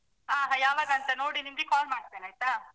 ಹ ಯಾವಾಗಂತ ನೋಡಿ ನಿಮ್ಗೆ call ಮಾಡ್ತೇನೆ ಆಯ್ತಾ?